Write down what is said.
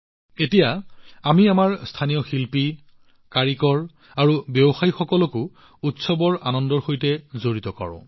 এতিয়া আমি আমাৰ স্থানীয় শিল্পী কাৰিকৰ আৰু ব্যৱসায়ীসকলক উৎসৱৰ আনন্দত অন্তৰ্ভুক্ত কৰোঁ